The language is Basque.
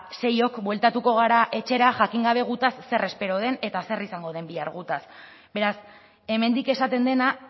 seiok bueltatuko gara etxera jakin gabe gutaz zer espero den eta zer izango den bihar gutaz beraz hemendik esaten dena